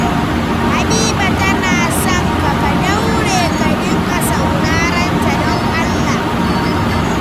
Habiba tana sonka. Ka daure ka dinga saurarenta don Allah.